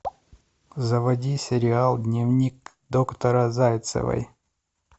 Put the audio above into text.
заводи сериал дневник доктора зайцевой